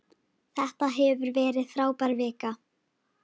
Þetta hefur verið frábær vika.